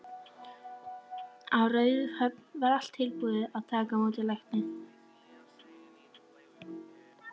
Á Raufarhöfn var allt tilbúið að taka á móti lækni.